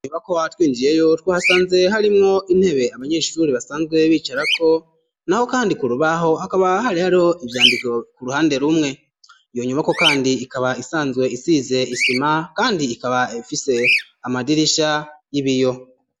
Inyubako twinjiyemwo twa hasanze harimwo intebe abanyeshure basanzwe bicara ko naho kandi kurubaho akaba hari haro ivyandiko ku ruhande rumwe yonyuma ko kandi ikaba isanzwe isize isima kandi ikaba ifise amadirisha y'ibiyo.